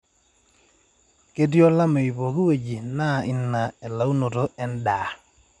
ketiii olameyu pookin wueji neyau I na elaunoto edaa